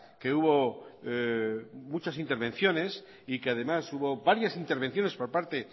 que hubo muchas intervenciones y que además hubo varias intervenciones por parte